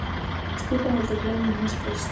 Stefán vildi gleyma henni sem fyrst.